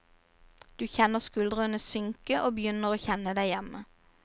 Du kjenner skuldrene synke og begynner å kjenne deg hjemme.